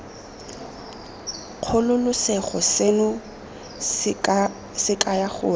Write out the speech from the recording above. kgololosego seno se kaya gore